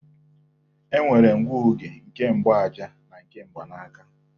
E nwere ngụoge nke mgbaaja na nke mgbanaaka